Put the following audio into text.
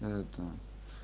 это